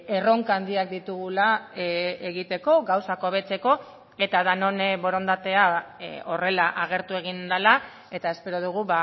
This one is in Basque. erronka handiak ditugula egiteko gauzak hobetzeko eta denon borondatea horrela agertu egin dela eta espero dugu